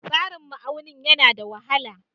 Tsarin ma'auni yana da wahala.